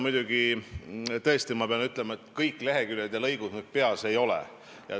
Tõesti, pean ütlema, et kõik leheküljed ja lõigud mul peas ei ole.